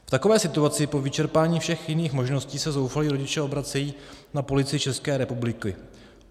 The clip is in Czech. V takové situaci po vyčerpání všech jiných možností se zoufalí rodiče obracejí na Policii České republiky.